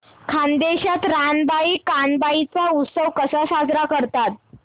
खानदेशात रानबाई कानबाई चा उत्सव कसा साजरा करतात